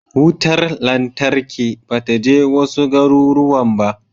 Wutar lantarki ba ta je wasu garuruwan ba.